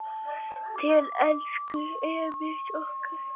Til elsku Emils okkar.